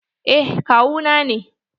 Eh kawu na ne.